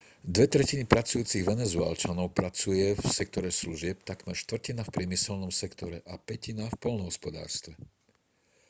dve tretiny pracujúcich venezuelčanov pracuje v sektore služieb takmer štvrtina v priemyselnom sektore a pätina v poľnohospodárstve